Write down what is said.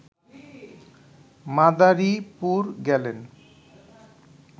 মাদারীপুর গেলেন